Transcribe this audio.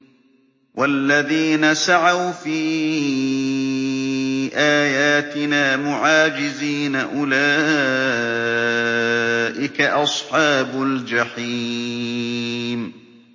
وَالَّذِينَ سَعَوْا فِي آيَاتِنَا مُعَاجِزِينَ أُولَٰئِكَ أَصْحَابُ الْجَحِيمِ